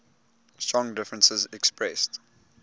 strong differences expressed